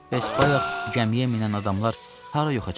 Bəs bayaq gəmiyə minən adamlar hara yoxa çıxdılar?